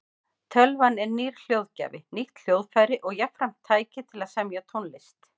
Tölvan er nýr hljóðgjafi, nýtt hljóðfæri og jafnframt tæki til að semja tónlist.